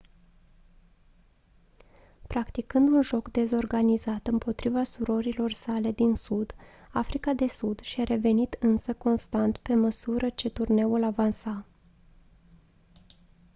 practicând un joc dezorganizat împotriva surorilor sale din sud africa de sud și-a revenit însă constant pe măsură ce turneul avansa